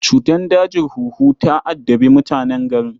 Cutar dajin huhu ta addabi mutanen garin